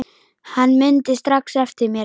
Hann mundi strax eftir mér.